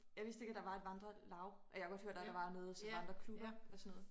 Jeg vidst ikke at der var et vandre laug jeg havde godt hørt at der var noget sådan vandreklubber og sådan noget